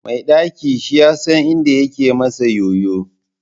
Mai ɗaki shiyasan inda yake masa ƴoƴo.